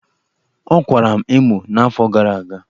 Ọkwara m emo n'afọ gara aga.